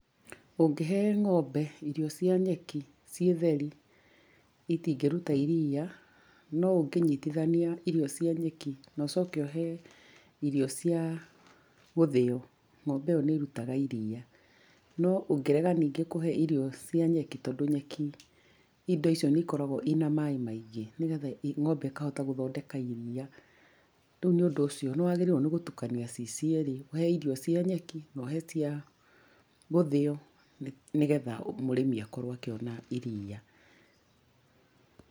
Ũngĩhe ng’ombe irio cia nyeki ciĩ theri, itingĩruta iriia, no ũngĩnyitithania irio cia nyeki, na ũcoke ũhe irio cia gũthĩo, ng'ombe ĩyo nĩ ĩrutaga iriia. No ũngĩrega nĩngĩ kũhe irio cia nyeki, tondũ nyeki indo icio nĩikoragwo ina maĩ maingi nĩgetha ng'ombe ĩkahota gũthondeka iriia. Rĩũ nĩũndũ ũcio nĩwagĩrĩire gũtukani ciĩ cierĩ ũhe irio cia nyeki, na ũhe cia gũthĩo nĩgetha mũrĩmi akorwo akĩona iriia.